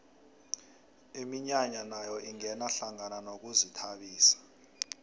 iminyanya nayo ingena hlangana nokuzithabisa